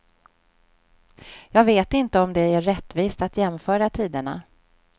Jag vet inte om det är rättvist att jämföra tiderna.